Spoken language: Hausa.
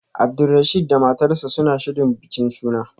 Abdulrasheed da matarsa ​​suna shirin bikin suna